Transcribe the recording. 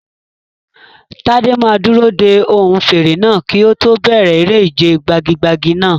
Tade máa dúró de ohùn fèrè náà kí ó tó bẹ̀rẹ̀ eré ìje gbagi-gbagi náà.